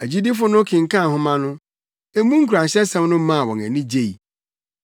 Agyidifo no kenkan nhoma no, emu nkuranhyɛsɛm no maa wɔn ani gyei.